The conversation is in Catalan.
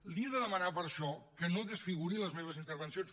li he de demanar per això que no desfiguri les meves intervencions